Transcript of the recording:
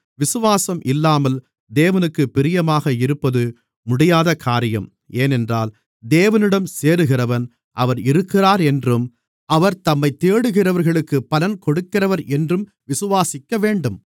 விசுவாசம் இல்லாமல் தேவனுக்குப் பிரியமாக இருப்பது முடியாதகாரியம் ஏனென்றால் தேவனிடம் சேருகிறவன் அவர் இருக்கிறார் என்றும் அவர் தம்மைத் தேடுகிறவர்களுக்குப் பலன் கொடுக்கிறவர் என்றும் விசுவாசிக்கவேண்டும்